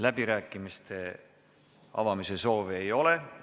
Läbirääkimiste avamise soovi ei ole.